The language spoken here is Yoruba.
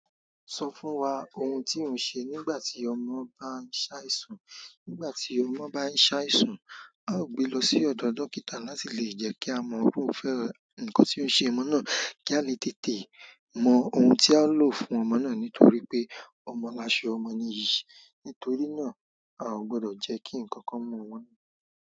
Sọ fún wa ohun tí ò ń ṣe nígbà tí ọmọ bá ń ṣàìsùn. Nígbà tí ọmọ bá ń ṣàìsàn, a ó gbe lọ sí ọ̀dọ̀ dókítà láti lè jẹ́ kí a mọ iru fẹ́, nǹkan tí ó ṣe ọmọ náà, kí a le tètè mọ ohun tí a o lò fún ọmọ náà nítorí pé ọmọ làṣọ ọmọ níyì. Nítorí náà, a ò gbọ́dọ̀ jẹ́ kí ǹkan kan mu wọ́n.